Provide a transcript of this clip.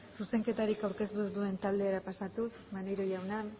zuzenketarik aurkeztu ez duen taldera pasatuz maneiro jauna